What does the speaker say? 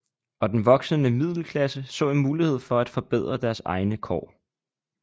Og den voksende middelklasse så en mulighed for at forbedre deres egne kår